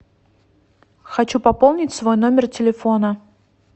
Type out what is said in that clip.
хочу пополнить свой номер телефона